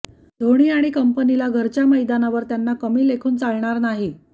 ढोणी आणि कंपनीला घरच्या मैदानावर त्यांना कमी लेखून चालणार नाही